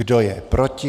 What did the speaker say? Kdo je proti?